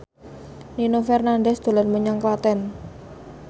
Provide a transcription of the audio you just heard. Nino Fernandez dolan menyang Klaten